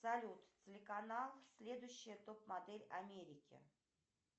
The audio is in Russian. салют телеканал следующая топ модель америки